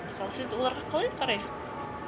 мысалы сіз оларға қалай қарайсыз